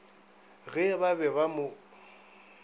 ge ba be ba mo